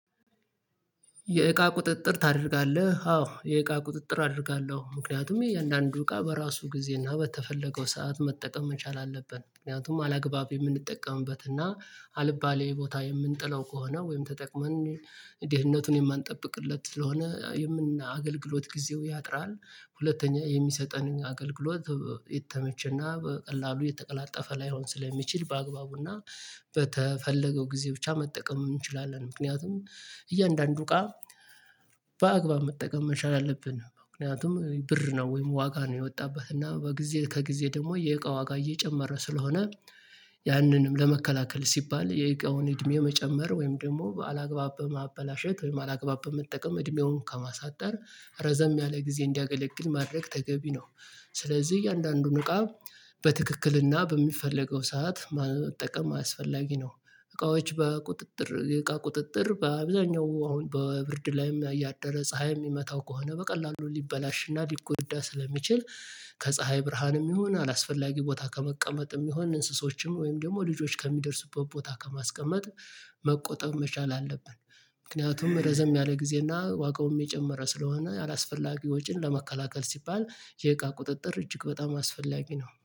የእቃ ቁጥጥር ታደርጋለህ? አዎ የእቃ ቁጥጥር አደርጋለሁ ምክንያቱም የእያንዳንዱ እቃ በራሱ ጊዜ እና በተፈለገው ሰዓት መጠቀም መቻል አለብን ምክንያቱም አላግባብ የምንጠቀምበት እና አልባሌ ቦታ የምንጥላው ከሆነ ወይም ተጠቅመን ደህንነቱን የማንጠብቅለት ስለሆነ የአገልግሎት ጊዜው ያጥራል። ሁለተኛ የሚሰጠንን አገልግሎት የተመቸና በቀላሉ የተቀላጠፈ ላይሆን ስለሚችል በአግባቡና በተፈለገው ጊዜ ብቻ መጠቀም እንችላለን። ምክንያቱም እያንዳንዱ እቃ ቃ በአግባብ መጠቀም መቻል አለብን ምክንያቱም ብር ነው ወይም ዋጋ ነው። የወጣበት እና በጊዜ ከጊዜ ደግሞ የእቃ ዋጋ እየጨመረ ስለሆነ ያንንም ለመከላከል ሲባል የእቃውን እድሜ መጨመር ወይም ደግሞ አላግባብ በማበላሸት ወይም አላግባብ በመጠቀም እድሜውን ከማሳጠር ረዘም ያለ ጊዜ እንዲያገለግል ማድረግ ተገቢ ነው። ስለዚህ እያንዳንዱን እቃ በትክክልና በሚፈለገው ሰዓት ማለት መጠቀም አስፈላጊ ነው። እቃዎች በቁጥጥር እቃ ቁጥጥር በአብዛኛው አሁን በብርድ ላይም ያደረ ፀሀይ የሚመታው ከሆነ በቀላሉ ሊበላሽና ሊጎዳ ስለሚችል ከፀሀይ ብርሃንም ይሁን አላስፈላጊ ቦታ ከመቀመጥም ይሁን እንስሶችም ወይም ደግሞ ልጆች ከሚደርሱበት ቦታ ከማስቀመጥ መቆጠብ መቻል አለብን። ምክንያቱም ረዘም ያለ ጊዜና ዋጋውም የጨመረ ስለሆነ አላስፈላጊ ወጪን ለመከላከል ሲባል የእቃ ቁጥጥር እጅግ በጣም አስፈላጊ ነው